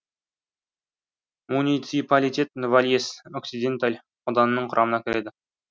муниципалитет вальес оксиденталь ауданының құрамына кіреді